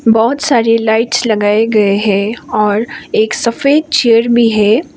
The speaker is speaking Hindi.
बहुत सारी लाइट्स लगाए गए हैं और एक सफेद चेयर भी है।